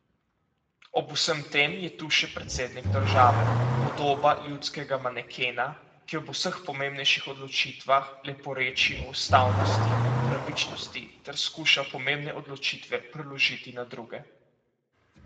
Ob vsem tem je tu še predsednik države, podoba ljudskega manekena, ki ob vseh pomembnejših odločitvah leporeči o ustavnosti in pravičnosti ter skuša pomembne odločitve preložiti na druge.